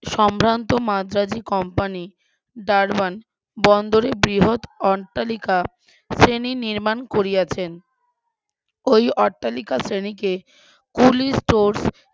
সম্ভ্রান্ত মাদ্রাজি company Durban বন্দরে বৃহৎ অট্টালিকা শ্রেণী নির্মাণ করিয়াছেন ওই অট্টালিকা শ্রেণীকে কুলি source